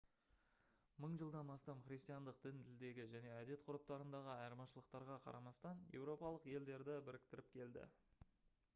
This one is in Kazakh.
мың жылдан астам христиандық дін тілдегі және әдет-ғұрыптарындағы айырмашылықтарға қарамастан еуропалық елдерді біріктіріп келді